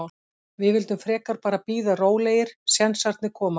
Við vildum frekar bara bíða rólegir, sénsarnir koma.